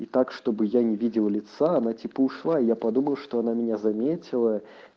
и так чтобы я не видел лица она типа ушла и я подумал что она меня заметила